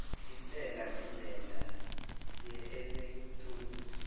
intela ngendlela yeelektroniki